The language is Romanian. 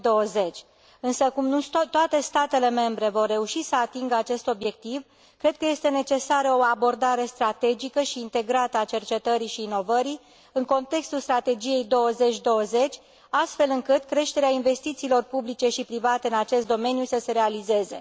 2020. Însă cum nu toate statele membre vor reuși să atingă acest obiectiv, cred că este necesară o abordare strategică și integrată a cercetării și inovării în contextul Strategiei 2020, astfel încât creșterea investițiilor publice și private în acest domeniu să se realizeze.